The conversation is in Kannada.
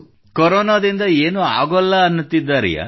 ಕೊರೊನಾದಿಂದ ಏನೂ ಆಗೋಲ್ಲ ಎನ್ನುತ್ತಿದ್ದಾರೆಯೇ